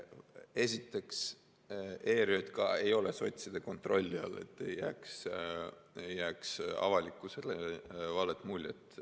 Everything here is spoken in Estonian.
Esiteks ütlen: ERJK ei ole sotside kontrolli all, et avalikkusele ei jääks valet muljet.